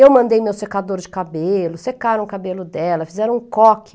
Eu mandei meu secador de cabelo, secaram o cabelo dela, fizeram um coque.